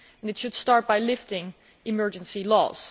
It should start by lifting emergency laws.